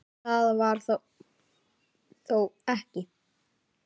Það var þó ekki